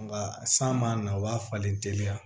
Nga san man na o b'a falen teliya